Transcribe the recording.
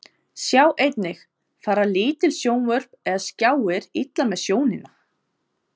Sjá einnig: Fara lítil sjónvörp eða skjáir illa með sjónina?